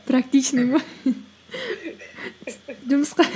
практичный ма